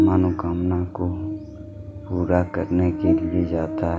मनोकामना को पूरा करने के लिए जाता--